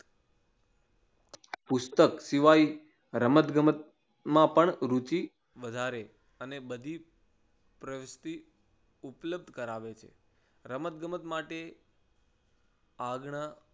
પુસ્તક સિવાય રમત ગમત મા પણ રુચિ વધારે અને બધી પ્રવૃતિ ઉપલબ્ધ કરાવે છે. રમત ગમત માટે આગ્રહ